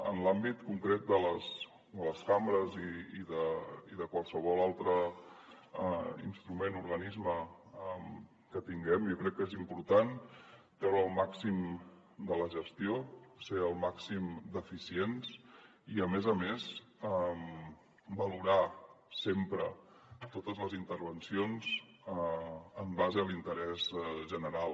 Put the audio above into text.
en l’àmbit concret de les cambres i de qualsevol altre instrument o organisme que tinguem jo crec que és important treure el màxim de la gestió ser el màxim d’eficients i a més a més valorar sempre totes les intervencions en base a l’interès general